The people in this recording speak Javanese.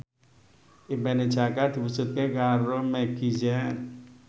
impine Jaka diwujudke karo Meggie Z